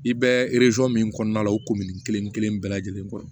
I bɛ min kɔnɔna la o komin kelen-kelen bɛɛ lajɛlen kɔ